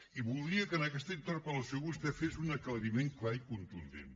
i voldria que en aquesta interpel·lació vostè fes un aclariment clar i contundent